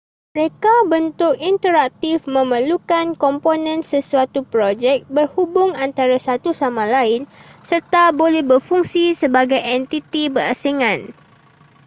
reka bentuk interaktif memerlukan komponen sesuatu projek berhubung antara satu sama lain serta boleh berfungsi sebagai entiti berasingan